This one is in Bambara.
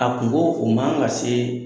A kungo, o man ka se